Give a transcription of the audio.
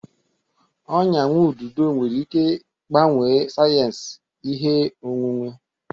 Ọnya nwa ududo nwere ike gbanwee sayensị ihe onwunwe.